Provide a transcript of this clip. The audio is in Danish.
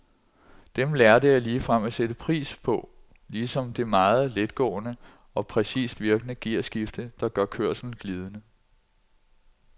Dem lærte jeg ligefrem at sætte pris på ligesom det meget letgående og præcist virkende gearskifte, der gør kørslen glidende.